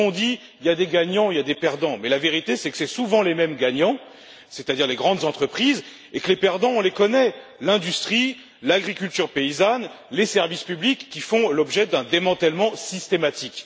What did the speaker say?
On dit Il y a des gagnants et il y a des perdants mais la vérité, c'est que ce sont souvent les mêmes gagnants, c'est à dire les grandes entreprises, et que les perdants, on les connaît l'industrie, l'agriculture paysanne et les services publics, qui font l'objet d'un démantèlement systématique.